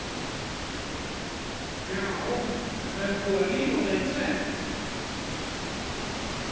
Já, en það er búið að rífa það í tvennt